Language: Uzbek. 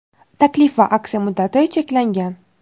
Taklif va aksiya muddati cheklangan.